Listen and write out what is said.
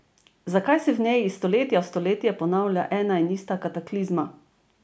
Zakaj se v njej iz stoletja v stoletje ponavlja ena in ista kataklizma?